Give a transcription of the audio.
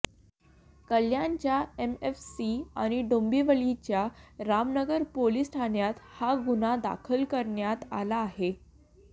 कल्याणच्या एमएफसी आणि डोंबिवलीच्या रामनगर पोलीस ठाण्यात हा गुन्हा दाखल करण्यात आला आहे